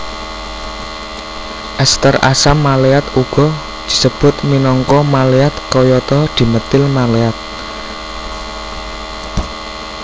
Ester asam maleat uga disebut minangka maleat kayata dimetil maleat